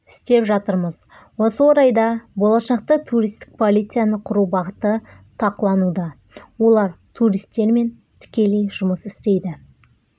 істеп жатырмыз осы орайда болашақта туристік полицияны құру бағыты тақылануда олар туристермен тікелей жұмыс істейді